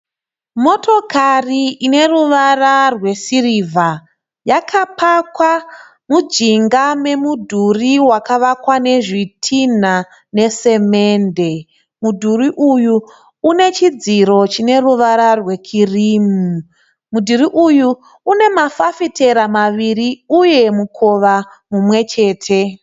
Motokari ine ruvara rwesirivha. Yakapakwa mujinga memudhuri wakavakwa nezvitinha nesemende. Mudhuri uyu une chidziro chine ruvara rwekirimu. Mudhuri uyu une mafafitera maviri uye mukova mumwe chete.